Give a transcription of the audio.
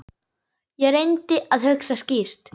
Ég reyndi að hugsa skýrt.